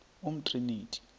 umtriniti